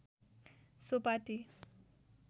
so Pati